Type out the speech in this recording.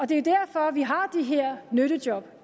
det er derfor vi har de her nyttejob